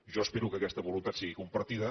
jo espero que aquesta voluntat sigui compartida